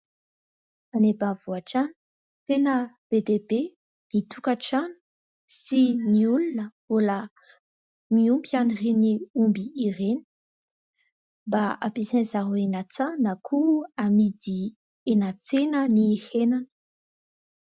Any ambanivohitra any tena be dia be ny tokantrano sy ny olona mbola miompy an'ireny omby ireny mba hampiasain'izy ireo any an-tsaha na koa amidy eny an-tsena ny henany.